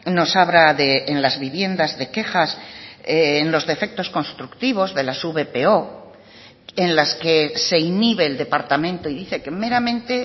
nos habla en las viviendas de quejas en los defectos constructivos de las vpo en las que se inhibe el departamento y dice que meramente